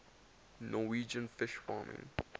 norwegian fish farming